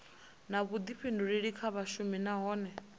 na vhuḓifhinduleli kha vhashumi nahone